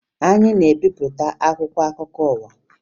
Anyị na-ebipụta akwụkwọ akụkọ ụwa